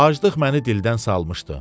Acılıq məni dildən salmışdı.